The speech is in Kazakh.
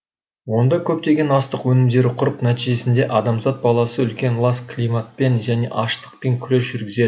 онда көптеген астық өнімдері құрып нәтижесінде адамзат баласы үлкен лас климатпен және аштықпен күрес жүргізеді